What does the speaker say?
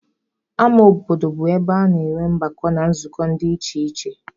Ama obodo bụ ebe a na-enwe ọgbakọ na nzukọ dị iche iche.